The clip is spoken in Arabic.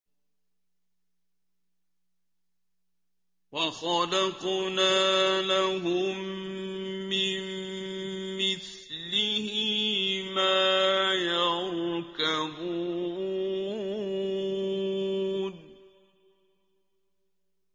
وَخَلَقْنَا لَهُم مِّن مِّثْلِهِ مَا يَرْكَبُونَ